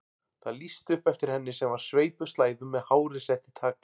Það lýsti upp eftir henni sem var sveipuð slæðum með hárið sett í tagl.